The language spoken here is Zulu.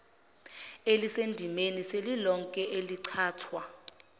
elisendimeni selilonke elichithwa